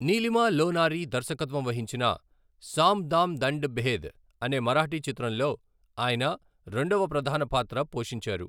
నీలిమా లోనారి దర్శకత్వం వహించిన సామ్ దామ్ దండ్ భేద్ అనే మరాఠీ చిత్రంలో ఆయన రెండవ ప్రధాన పాత్ర పోషించారు.